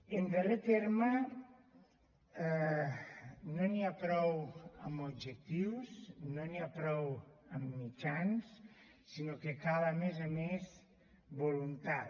en darrer terme no n’hi ha prou amb objectius no n’hi ha prou amb mitjans sinó que cal a més a més voluntat